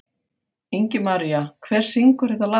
Ingimaría, hver syngur þetta lag?